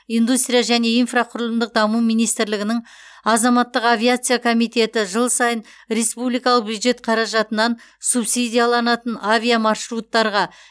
индустрия және инфрақұрылымдық даму министрлігінің азаматтық авиация комитеті жыл сайын республикалық бюджет қаражатынан субсидияланатын авиамаршруттарға